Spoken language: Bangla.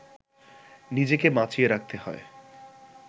নিজেকে বাঁচিয়ে রাখতে হয়